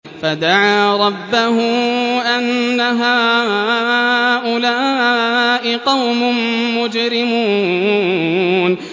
فَدَعَا رَبَّهُ أَنَّ هَٰؤُلَاءِ قَوْمٌ مُّجْرِمُونَ